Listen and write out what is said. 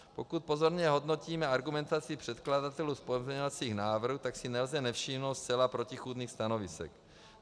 Pokud pozorně hodnotíme argumentaci předkladatelů pozměňovacích návrhů, tak si nelze nevšimnout zcela protichůdných stanovisek.